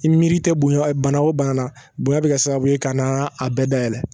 I miri tɛ bonya bana o bana na bonya bɛ kɛ sababu ye ka na a bɛɛ dayɛlɛ